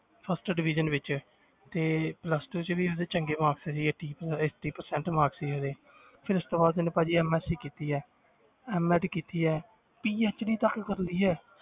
First division ਵਿੱਚ ਤੇ plus two 'ਚ ਵੀ ਉਹਦੇ ਚੰਗੇ marks ਸੀਗੇ ਠੀਕ ਹੈ eighty percent marks ਸੀ ਉਹਦੇ ਫਿਰ ਉਸ ਤੋਂ ਬਾਅਦ ਉਹਨੇ ਭਾਜੀ MSC ਕੀਤੀ ਹੈ MED ਕੀਤੀ ਹੈ PhD ਤੱਕ ਕਰ ਲਈ ਹੈ